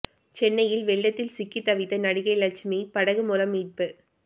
சென்னையில் வெள்ளத்தில் சிக்கித் தவித்த நடிகை லட்சுமி படகு மூலம் மீட்பு